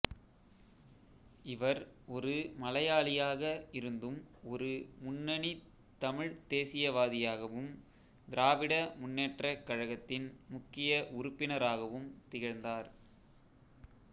இவர் ஒரு மலையாளியாக இருந்தும் ஒரு முன்னணித் தமிழ்த் தேசியவாதியாகவும் திராவிட முன்னேற்றக் கழகத்தின் முக்கிய உறுப்பினராகவும் திகழ்ந்தார்